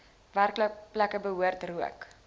werkplekke behoort rook